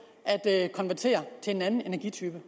at konvertere til en anden energitype